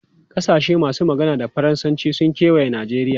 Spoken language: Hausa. Kasashe masu magana da Faransanci sun kewaye Najeriya.